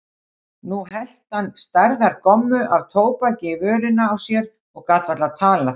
Nú hellti hann stærðar gommu af tóbaki í vörina á sér og gat varla talað.